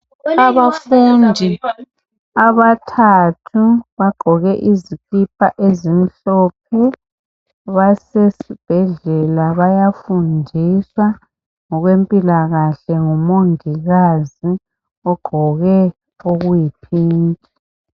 Abafundi abathathu bagqoke izikipa ezimhlophe basesibhedlela bayafundiswa ngokwempilakahle ngumongikazi ogqoke okuyi phinki.